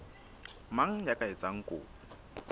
mang ya ka etsang kopo